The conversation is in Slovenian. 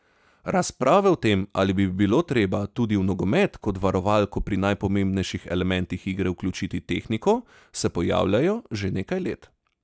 Razprave o tem, ali bi bilo treba tudi v nogomet kot varovalko pri najpomembnejših elementih igre vključiti tehniko, se pojavljajo že nekaj let.